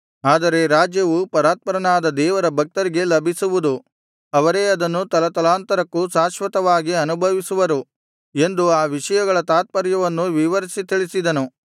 ಆದರೆ ರಾಜ್ಯವು ಪರಾತ್ಪರನಾದ ದೇವರ ಭಕ್ತರಿಗೆ ಲಭಿಸುವುದು ಅವರೇ ಅದನ್ನು ತಲತಲಾಂತರಕ್ಕೂ ಶಾಶ್ವತವಾಗಿ ಅನುಭವಿಸುವರು ಎಂದು ಆ ವಿಷಯಗಳ ತಾತ್ಪರ್ಯವನ್ನು ವಿವರಿಸಿ ತಿಳಿಸಿದನು